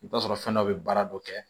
I bɛ t'a sɔrɔ fɛn dɔ bɛ baara dɔ kɛ